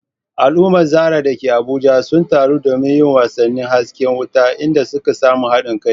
Al’ummar Zarah da ke Abuja sun taru domin yin wasannin hasken wata, inda suka samu haɗin kai.